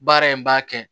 Baara in b'a kɛ